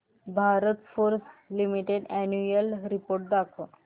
Bharat forge limited annual report दाखव